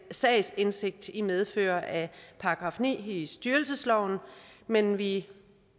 sagsindsigt i medfør af § ni i styrelsesloven men vi